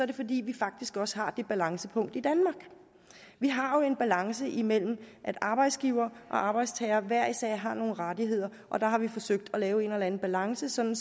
det fordi vi faktisk også har det balancepunkt i danmark vi har jo en balance imellem at arbejdsgivere og arbejdstagere hver især har nogle rettigheder og der har vi forsøgt at lave en eller anden balance sådan